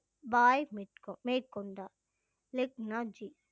மேற்கொ~ மேற்கொண்டார் லெக்னா ஜி